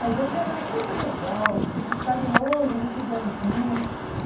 Mas ele era muito legal, assim muito carinhoso, muito bonzinho.